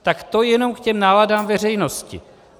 Tak to jenom k těm náladám veřejnosti.